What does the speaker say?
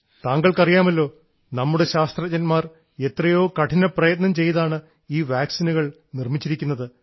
താങ്കൾക്കറിയാമല്ലോ നമ്മുടെ ശാസ്ത്രജ്ഞന്മാർ എത്രയോ കഠിനപ്രയത്നം ചെയ്താണ് ഈ വാക്സിനുകൾ നിർമ്മിച്ചിരിക്കുന്നത്